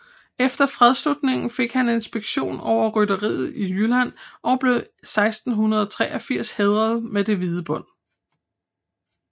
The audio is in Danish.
Efter fredsslutningen fik han inspektion over rytteriet i Jylland og blev 1683 hædret med det hvide bånd